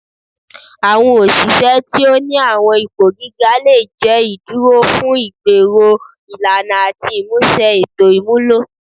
Awọn oṣiṣẹ ti o ni awọn ipo giga le jẹ iduro fun igbero ilana ati imuse eto imulo